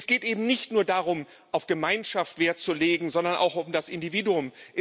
Es geht eben nicht nur darum, auf Gemeinschaft Wert zu legen, sondern auch um das Individuum.